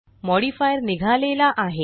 modifier निघालेला आहे